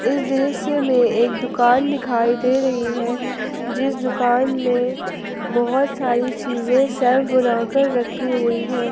इस दृश्य में एक दुकान दिखाई दे रही है जिस दुकान में बहुत सारी चीजे सेल्फ बनाकर रखी हुई है।